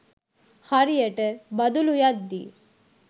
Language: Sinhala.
හරියට බදුලු යද්දි